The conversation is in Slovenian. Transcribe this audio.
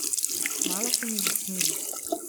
Malo se mi zasmili.